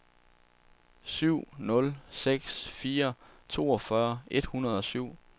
syv nul seks fire toogfyrre et hundrede og syv